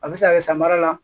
A bɛ se ka kɛ samara la